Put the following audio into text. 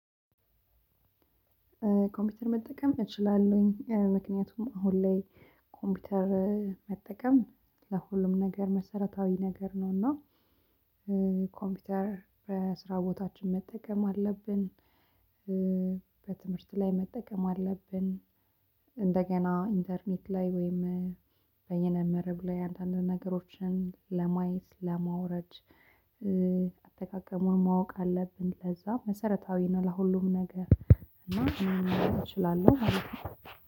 ኮምፒውተር መጠቀም እችላለሁኝ ምክንያቱም አሁን ላይ ኮምፒውተር መጠቀም ለሁሉም ነገር መሰረታዊ ነገር ነውና። ኮምፒውተር በስራ ቦታችን መጠቀም አለብን። በትምህርት ላይ መጠቀም አለብን። እንደገና ኢንተርኔት ላይ ወይም በየነ መረብ ላይ አንዳንድ ነገሮችን ለማየት ለማውረድ። አጠቃቀሙን ማወቅ አለብን ለዛ መሰረታዊ ነው። ለሁሉም ነገር እና እችላለሁ ማለት ነው።